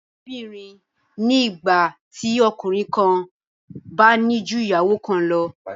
Ìkóbìnrin ni ìgbà tí ọkùnrin kan bá ní ju ìyàwó kan lọ